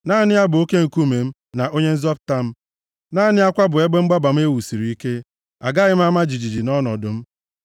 Naanị ya bụ oke nkume m, na onye nzọpụta m. Naanị ya kwa bụ ebe mgbaba m e wusiri ike, agaghị m ama jijiji nʼọnọdụ m.